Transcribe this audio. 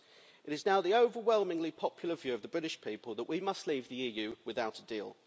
It is now the overwhelmingly popular view of the British people that we must leave the EU without a deal.